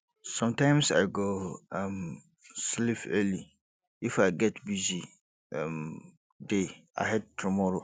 sometimes i go um sleep early if i get busy um day ahead tomorrow